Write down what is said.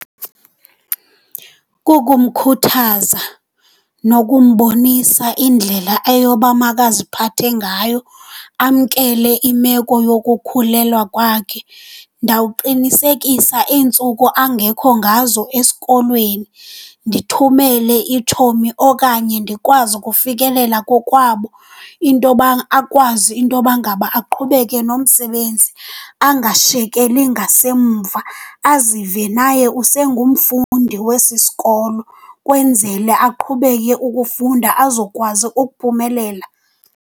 Kukumkhuthaza nokumbonisa indlela eyoba makaziphathe ngayo, amkele imeko yokukhulelwa kwakhe. Ndawuqinisekisa iintsuku angekho ngazo esikolweni ndithumele itshomi okanye ndikwazi ukufikelela kokwabo, intoba akwazi intoba ngaba aqhubeke nomsebenzi angashiyekeli ngasemva, azive naye usengumfundi wesi sikolo. Kwenzele aqhubeke ukufunda azokwazi ukuphumelela.